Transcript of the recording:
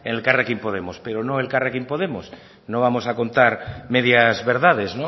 en elkarrekin podemos pero no elkarrekin podemos no vamos a contar medias verdades